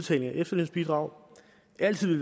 sit efterlønsbidrag